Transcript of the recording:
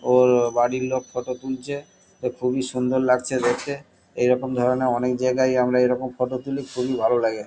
ওর বাড়ির লোক ফটো তুলছে। তো খুবই সুন্দর লাগছে দেখে । এইরকম ধরণের অনেক জায়গায়ই আমরা এরকম ফটো তুলি। খুবই ভালো লাগে ।